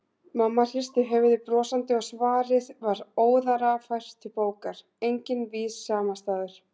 Mamma hristi höfuðið brosandi og svarið var óðara fært til bókar: Enginn vís samastaður.